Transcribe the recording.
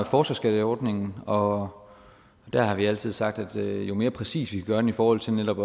forskerskatteordningen og der har vi altid sagt at jo mere præcis vi kan gøre den i forhold til netop